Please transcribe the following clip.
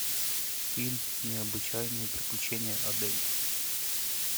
фильм необычайные приключения адель